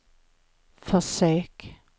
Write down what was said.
försök